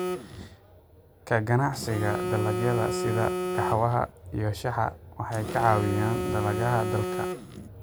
Ka ganacsiga dalagyada sida qaxwaha iyo shaaha waxay caawiyaan dhaqaalaha dalka.